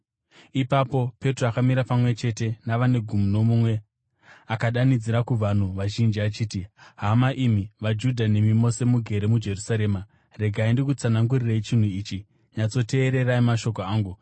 Ipapo Petro akamira pamwe chete navane gumi nomumwe, akadanidzira kuvanhu vazhinji achiti, “Hama imi vaJudha nemi mose mugere muJerusarema, regai ndikutsanangurirei chinhu ichi; nyatsoteererai mashoko angu.